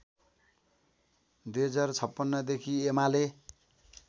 २०५६ देखि एमाले